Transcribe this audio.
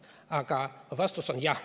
Aga vastus on jah.